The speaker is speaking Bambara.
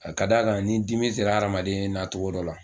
A da kan ni dimi sera adamaden na togo dɔ la